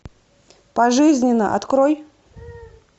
пожизненно открой